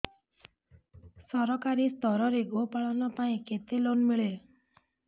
ସରକାରୀ ସ୍ତରରେ ଗୋ ପାଳନ ପାଇଁ କେତେ ଲୋନ୍ ମିଳେ